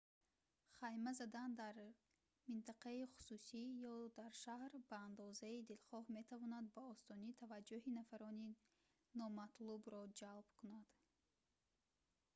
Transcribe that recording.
хайма задан дар минтақаи хусусӣ ё дар шаҳр ба андозаи дилхоҳ метавонад ба осонӣ таваҷҷӯҳи нафарони номатлубро ҷалб кунад